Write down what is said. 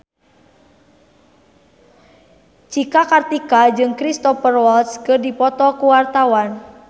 Cika Kartika jeung Cristhoper Waltz keur dipoto ku wartawan